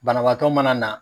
Banabagatɔ mana na